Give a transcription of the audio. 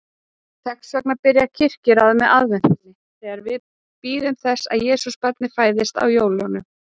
Þess vegna byrjar kirkjuárið með aðventunni, þegar við bíðum þess að Jesúbarnið fæðist á jólum.